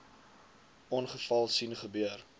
ongeval sien gebeur